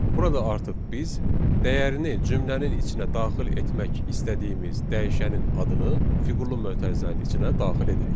Burada artıq biz dəyərini cümlənin içinə daxil etmək istədiyimiz dəyişənin adını fiqurlu mötərizənin içinə daxil edirik.